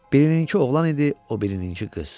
Birininkı oğlan idi, o birininkı qız.